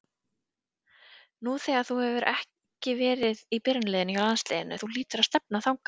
Nú hefur þú ekki verið í byrjunarliðinu hjá landsliðinu, þú hlýtur að stefna þangað?